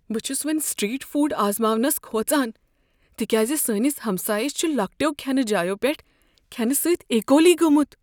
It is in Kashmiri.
بہٕ چھس وۄنۍ سٹریٹ فوڈ آزماونس کھوژان تکیازِ سٲنس ہمسایس چھ لۄکٹیو کھینہٕ جایو پیٹھ کھینہٕ سۭتۍ ایکولی گومت۔